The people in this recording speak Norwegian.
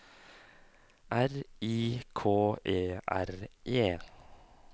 R I K E R E